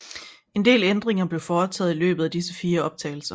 En del ændringer blev foretaget i løbet af disse fire optagelser